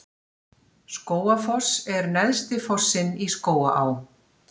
Skógafoss er neðsti fossinn í Skógaá.